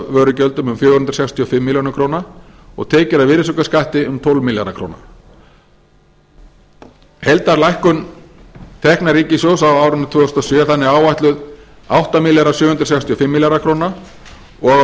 vörugjöldum um fjögur hundruð sextíu og fimm milljónir króna og tekjur af virðisaukaskatti um tólf milljarða króna heildarlækkun tekna ríkissjóðs á árinu tvö þúsund og sjö er þannig áætluð átta þúsund sjö hundruð sextíu og